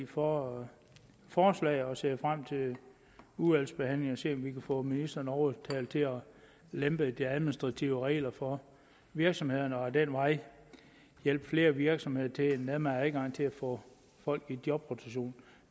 for forslaget og ser frem til udvalgsbehandlingen se om vi kan få ministeren overtalt til at lempe de administrative regler for virksomhederne og ad den vej hjælpe flere virksomheder til en nemmere adgang til at få folk i jobrotation